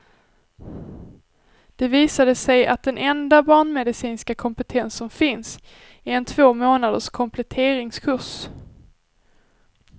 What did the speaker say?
Det visade sig att den enda barnmedicinska kompetens som finns, är en två månaders kompletteringskurs.